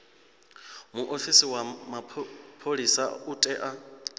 muofisi wa mapholisa u tea